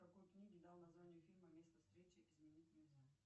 какой книге дал название фильм место встречи изменить нельзя